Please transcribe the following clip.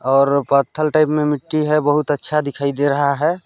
और पत्थल टाईप में मिट्टी है बहोत अच्छा दिखाई दे रहा हैं।